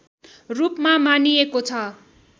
रूपमा मानिएको छ